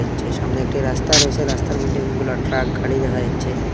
সামনে একটি রাস্তা রয়েছে রাস্তার মইধ্যে অনেকগুলি ট্রাক গাড়ি দেখা যাচ্ছে।